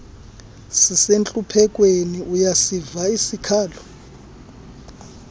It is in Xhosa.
sisentluphekweni uyasiva isikhalo